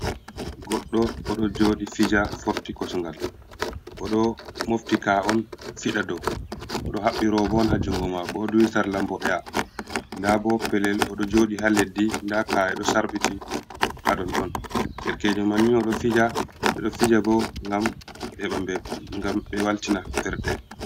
Goɗɗo oɗo jodi fija, forti kosgal oɗo mofti ka'on fiɗa dew, odo haɓɓi robo on ha jungo mako oɗu duhi sarla mboɗeha, nda bo pellel odo jodi ha leddi nda ka'e ɗo sarbiti haɗon ɗon, derkejo manni oɗoo fija ɓe ɗoo fijabo ngam ɓe heɓa mbe ngam ɓe waltina ɓernde.